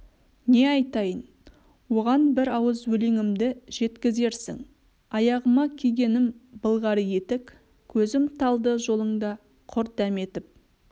не айтайын оған бір ауыз өлеңімді жеткізерсің аяғыма кигенім былғары етік көзім талды жолыңда құр дәметіп